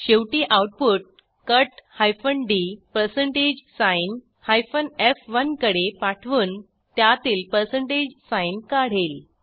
शेवटी output cut d f1 कडे पाठवून त्यातील साइन काढेल